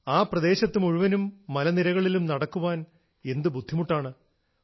ആ പ്രദേശത്ത് മുഴുവനും മലനിരകളിലും നടക്കാൻ എന്തു ബുദ്ധിമുട്ടാണ്